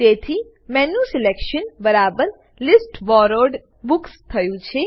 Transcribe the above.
તેથી મેન્યુસલેક્શન બરાબર list borrowed books થયું છે